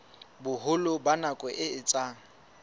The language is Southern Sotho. boholo ba nako e etsang